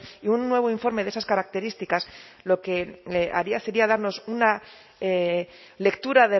y un nuevo informe de esas características lo que haría sería darnos una lectura